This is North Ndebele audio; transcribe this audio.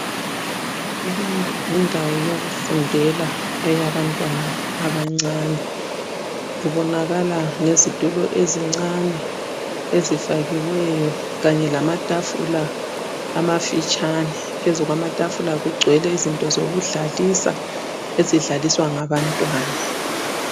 Leyi yindawo yokufundela eyabantwana abancane, kubonakala ngezitulo ezincane ezifakiweyo kanye lamatafula amafitshane. Phezu kwamatafula kugcwele izinto zokudlalisa ezidlaliswa ngabantwana.